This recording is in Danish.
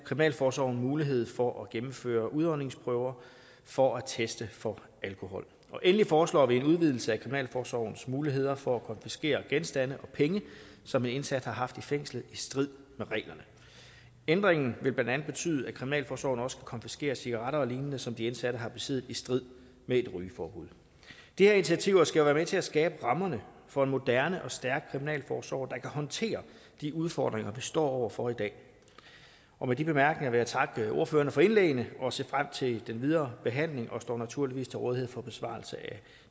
kriminalforsorgen mulighed for at gennemføre udåndingsprøver for at teste for alkohol endelig foreslår vi en udvidelse af kriminalforsorgens muligheder for at konfiskere genstande og penge som en indsat har haft i fængslet i strid med reglerne ændringen vil blandt andet betyde at kriminalforsorgen også kan konfiskere cigaretter og lignende som de indsatte har besiddet i strid med et rygeforbud de her initiativer skal være med til at skabe rammerne for en moderne og stærk kriminalforsorg der kan håndtere de udfordringer vi står over for i dag og med de bemærkninger vil jeg takke ordførerne for indlæggene og se frem til den videre behandling og jeg står naturligvis til rådighed for besvarelse af